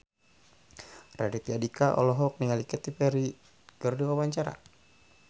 Raditya Dika olohok ningali Katy Perry keur diwawancara